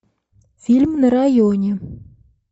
фильм на районе